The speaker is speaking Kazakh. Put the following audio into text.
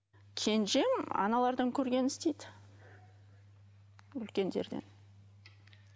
кенжем аналардан көргенін істейді үлкендерден